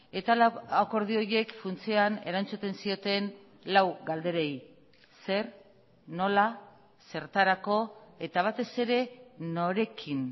eta akordio horiek funtsean erantzuten zioten lau galderei zer nola zertarako eta batez ere norekin